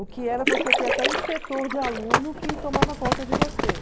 O que era você ter até inspetor de aluno que tomava conta de você?